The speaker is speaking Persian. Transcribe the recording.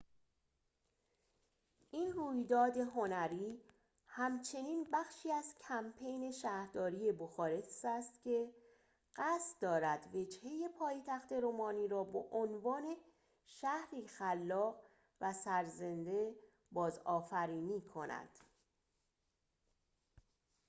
این رویداد هنری همچنین بخشی از کمپین شهرداری بخارست است که قصد دارد وجهه پایتخت رومانی را به عنوان شهری خلاق و سرزنده بازآفرینی کند